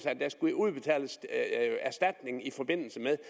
at der skulle udbetales erstatning i forbindelse med